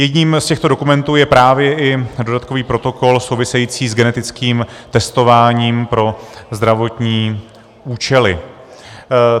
Jedním z těchto dokumentů je právě i dodatkový protokol související s genetickým testováním pro zdravotní účely.